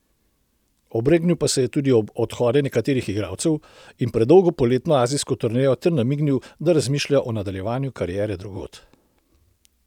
Obregnil pa se je tudi ob odhode nekaterih igralcev in predolgo poletno azijsko turnejo ter namignil, da razmišlja o nadaljevanju kariere drugod.